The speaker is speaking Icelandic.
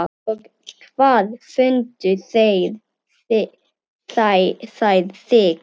Og hvar fundu þeir þig.